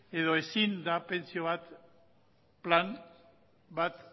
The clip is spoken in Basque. edo ezin da pentsio plan bat